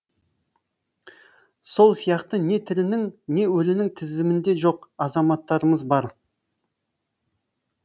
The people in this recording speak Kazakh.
сол сияқты не тірінің не өлінің тізімінде жоқ азаматтарымыз бар